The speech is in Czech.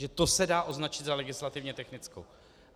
Že to se dá označit za legislativně technickou.